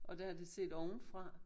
Og der er det set ovenfra